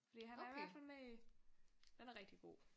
Fordi han er i hvert fald med i. Den er rigtig god